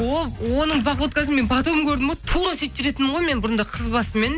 ол оның походкасын мен потом көрдім ғой тура сөйтіп жүретінмін ғой мен бұрында қыз басыммен